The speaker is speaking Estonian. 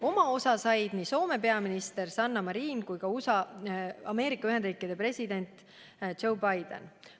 Oma osa said nii Soome peaminister Sanna Marin kui ka Ameerika Ühendriikide president Joe Biden.